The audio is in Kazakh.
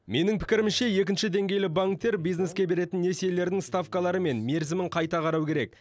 менің пікірімше екінші деңгейлі банктер бизнеске беретін несиелерінің ставкалары мен мерзімін қайта қарау керек